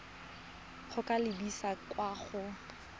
go ka lebisa kwa go